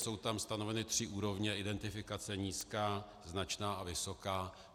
Jsou tam stanoveny tři úrovně identifikace - nízká, značná a vysoká.